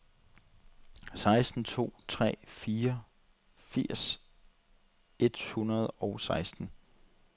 seks to tre fire firs et hundrede og seksten